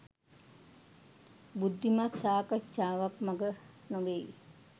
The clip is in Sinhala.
බුද්ධිමත් සාකච්චාවක් මග නොවෙයි